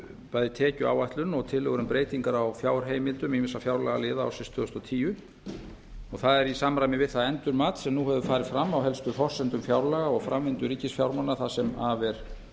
bæði tekjuáætlun og tillögur um breytingar á fjárheimildum ýmissa fjárlagaliða ársins tvö þúsund og tíu og það er í samræmi við það endurmat sem nú hefur farið fram á helstu forsendum fjárlaga og framvindu ríkisfjármálanna það sem af er